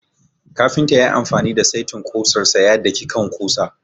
Kafinta ya yi amfani da saitin kusar sa ya daki kan ƙusa.